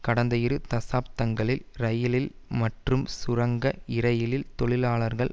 கடந்த இரு தசாப்தங்களில் இரயில்கள் மற்றும் சுரங்க இரயில் தொழிலாளர்கள்